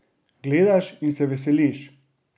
Gledaš in se veseliš!